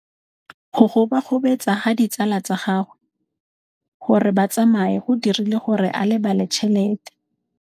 Go gobagobetsa ga ditsala tsa gagwe, gore ba tsamaye go dirile gore a lebale tšhelete.